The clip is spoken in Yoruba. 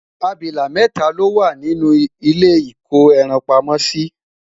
abilà mẹta lowa nínú ilé iko ẹran pamó si